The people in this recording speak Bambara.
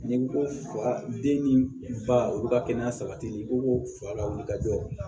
N'i ko ko fa den ni ba olu ka kɛnɛya sabatili ko fa lawuli ka jɔ